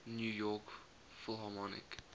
new york philharmonic